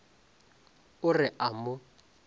o re o a mo